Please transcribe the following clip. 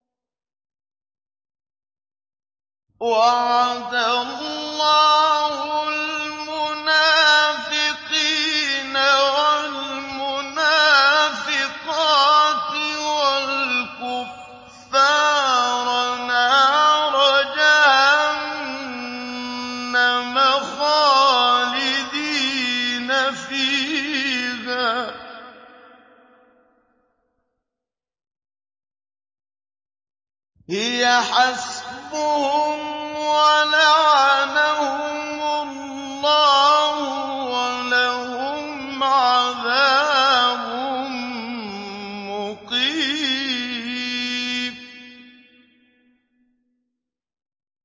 وَعَدَ اللَّهُ الْمُنَافِقِينَ وَالْمُنَافِقَاتِ وَالْكُفَّارَ نَارَ جَهَنَّمَ خَالِدِينَ فِيهَا ۚ هِيَ حَسْبُهُمْ ۚ وَلَعَنَهُمُ اللَّهُ ۖ وَلَهُمْ عَذَابٌ مُّقِيمٌ